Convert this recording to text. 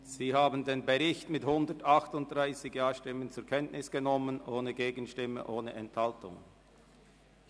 Sie haben den Bericht mit 138 Stimmen ohne Gegenstimme und ohne Enthaltung zur Kenntnis genommen.